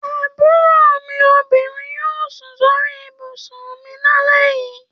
Àbúrò mú obinrin yóò sùn sórí ibùsùn mi lálẹ́ yìí.